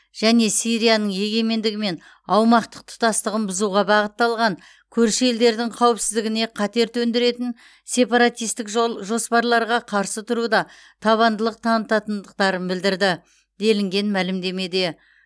және сирияның егемендігі мен аумақтық тұтастығын бұзуға бағытталған көрші елдердің қауіпсіздігіне қатер төндіретін сепаратистік жол жоспарларға қарсы тұруда табандылық танытатындықтарын білдірді делінген мәлімдемеде